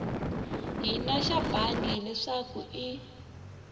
hina xa bangi leswaku i